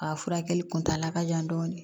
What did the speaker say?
A furakɛli kuntala ka jan dɔɔni